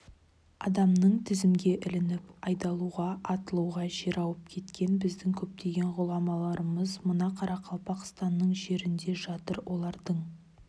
адамның тізімге ілініп айдалуға атылуға жер ауып кеткен біздің көптеген ғұламаларымыз мына қарақалпақстанның жерінде жатыр олардың